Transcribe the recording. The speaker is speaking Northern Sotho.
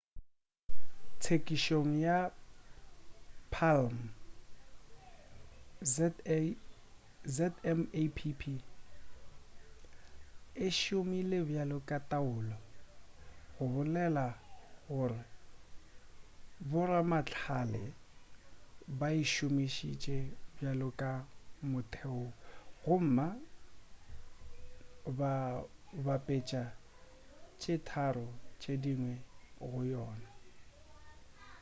tsekišong ya palm zmapp e šomile bjalo ka taolo go bolela gore boramahlale ba e šomišitše bjalo ka motheo gomma ba bapetša tše tharo tše dingwe go yona